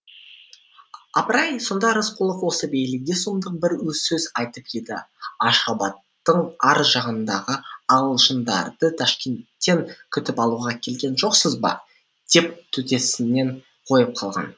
апыр ай сонда рысқұлов осы бейлиге сұмдық бір сөз айтып еді ашғабадтың ар жағындағы ағылшындарды ташкенттен күтіп алуға келген жоқсыз ба деп төтесінен қойып қалған